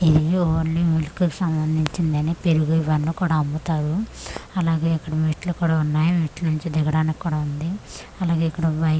ఇవి only milk కు సంబంధించిదని పెరుగు ఇవన్ని కూడ అమ్ముతారు అలాగే ఇక్కడ మెట్లు కూడ ఉన్నాయ్ మెట్ల నుంచి దిగడానికి కూడ ఉంది అలాగే ఇక్కడ బైక్లన్ని పార్కింగ్ చె'--'